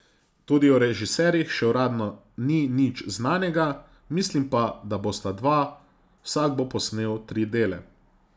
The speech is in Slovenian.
Tudi o režiserjih še uradno ni nič znanega, mislim pa, da bosta dva, vsak bo posnel tri dele.